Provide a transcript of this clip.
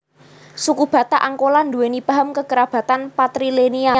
Suku Batak Angkola duweni paham kekerabatan patrilineal